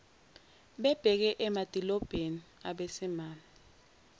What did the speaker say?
bebheke emadilobheni abesimame